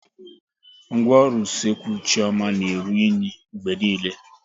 Ngwaọrụ Usekwu Chioma na-eru unyi mgbe niile